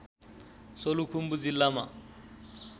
सोलुखुम्बु जिल्लामा